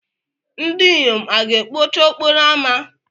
ndinyom a ga-ekpocha okporo ámá?